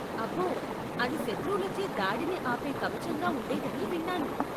అబ్బో. అది శత్రువులచే దాడిని ఆపే కవచంగా ఉండేదని విన్నాను.